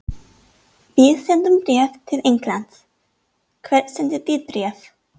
Við sendum bréf til Englands. Hvert sendið þið bréf?